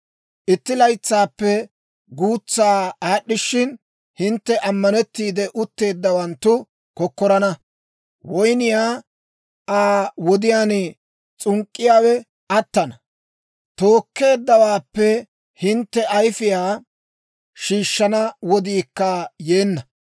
Itti laytsaappe guutsaa aad'd'ishshin, hintte ammanettiide utteeddawanttu kokkorana; woyniyaa Aa wodiyaan s'unk'k'iyaawe attana. Tookkeeddawaappe hintte ayfiyaa shiishshana wodiikka yeenna.